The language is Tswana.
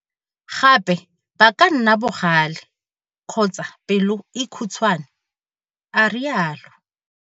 Gape ba ka nna bogale kgotsa pelo e khutshwane, a rialo.